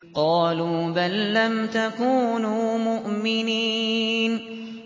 قَالُوا بَل لَّمْ تَكُونُوا مُؤْمِنِينَ